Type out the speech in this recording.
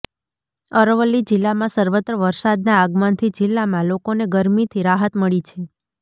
અરવલ્લી જીલ્લામાં સર્વત્ર વરસાદના આગમનથી જિલ્લામાં લોકોને ગરમીથી રાહત મળી છે